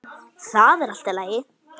Það er allt í lagi.